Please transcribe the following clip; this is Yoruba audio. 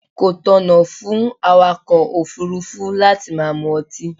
Kò tọ̀nà fún awàkọ̀ òfúrúfú láti máa mu ọtí.